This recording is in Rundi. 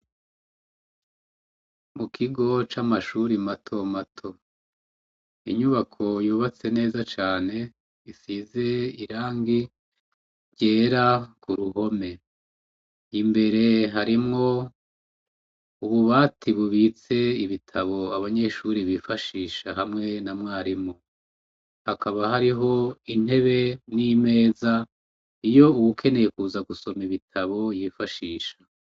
mu kigo c'amashuri mato mato inyubako yubatse neza cane isize irangi ryera ku ruhome imbere harimwo ubu bati bubitse ibitabo abanyeshuri bifashisha hamwe na mwarimu hakaba hariho intebe n'imeza iyo ubukeneye kuza gusoma ibitabo yifashisha